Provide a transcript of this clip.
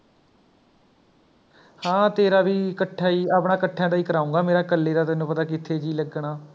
ਹਾਂ ਤੇਰਾ ਵੀ ਇਕੱਠਾ ਹੀ ਆਪਣਾ ਇਕੱਠੀਆਂ ਦਾ ਹੀ ਕਰਾਊਂਗਾ ਮੇਰਾ ਇਕੱਲੇ ਦਾ ਤੈਨੂੰ ਪਤਾ ਹੈ ਕਿੱਥੇ ਜੀਅ ਲੱਗਣਾ